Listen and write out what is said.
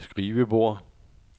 skrivebord